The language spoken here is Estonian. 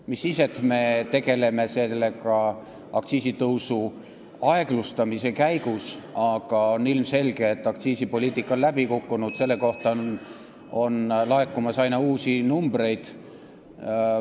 Mis siis, et me tegeleme sellega aktsiisitõusu aeglustades, aga on ilmselge, et aktsiisipoliitika on läbi kukkunud, selle kohta on laekumas aina uusi andmeid.